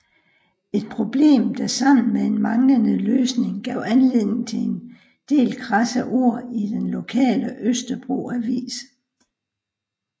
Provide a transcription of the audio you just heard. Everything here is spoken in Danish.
Et problem der sammen med en manglende løsning gav anledning til en del krasse ord i den lokale Østerbro Avis